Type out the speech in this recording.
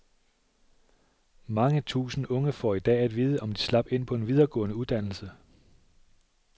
Mange tusind unge får i dag at vide, om de slap ind på en videregående uddannelse.